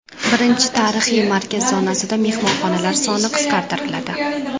Birinchi tarixiy markaz zonasida mehmonxonalar soni qisqartiriladi.